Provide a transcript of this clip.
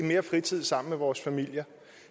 mere fritid sammen med vores familier